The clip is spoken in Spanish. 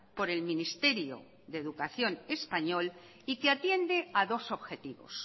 por el ministerio de educación español y que atiende a dos objetivos